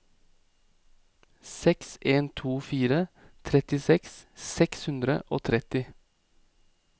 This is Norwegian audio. seks en to fire trettiseks seks hundre og tretti